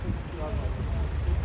Yox, maşın çox olur.